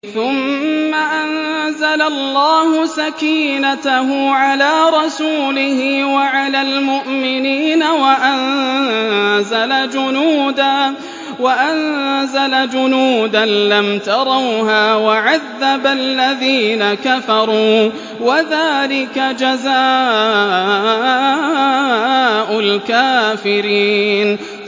ثُمَّ أَنزَلَ اللَّهُ سَكِينَتَهُ عَلَىٰ رَسُولِهِ وَعَلَى الْمُؤْمِنِينَ وَأَنزَلَ جُنُودًا لَّمْ تَرَوْهَا وَعَذَّبَ الَّذِينَ كَفَرُوا ۚ وَذَٰلِكَ جَزَاءُ الْكَافِرِينَ